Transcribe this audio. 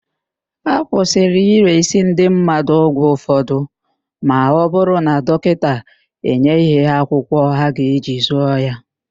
Akwụsịrị ịresị ndị mmadụ ọgwụ ụfọdụ ma ọ bụrụ na dọkịta enyeghị ha akwụkwọ ha ga-eji zụọ ya.